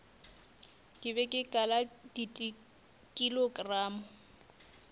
ke be ke kala dikilogramo